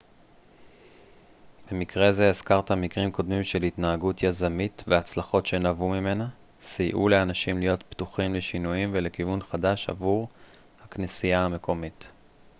במקרה זה הזכרת מקרים קודמים של התנהגות יזמית והצלחות שנבעו ממנה סייעו לאנשים להיות פתוחים לשינויים ולכיוון חדש עבור הכנסייה המקומית